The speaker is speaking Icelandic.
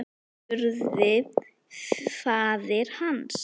spurði faðir hans.